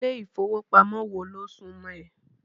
Ilé ìfowópamọ́ wo ló súmọ́ ẹ?